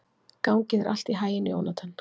Gangi þér allt í haginn, Jónatan.